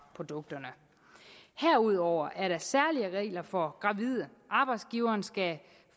produkterne herudover er der særlige regler for gravide arbejdsgiveren skal